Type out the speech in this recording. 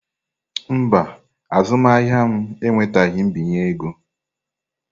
Mba, azụmahịa m enwetaghị mbinye ego.